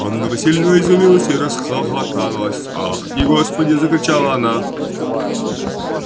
анна васильевна изумилась и расхохоталась ах ты господи закричала она